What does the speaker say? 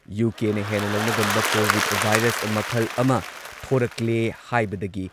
ꯌꯨ.ꯀꯦꯅ ꯍꯦꯟꯅ ꯂꯧꯅꯒꯟꯕ covid virus ꯃꯈꯜ ꯑꯃ ꯊꯣꯔꯛꯂꯦ ꯍꯥꯏꯕꯗꯒꯤ